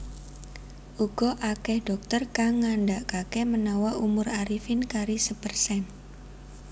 Uga akeh dhokter kang ngandakake menawa umur Arifin kari sepersen